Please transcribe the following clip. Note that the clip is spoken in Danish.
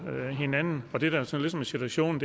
hinanden og det der så ligesom er situationen